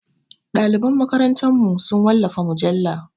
Ɗaliban makarantarmu su wallafa mujalla.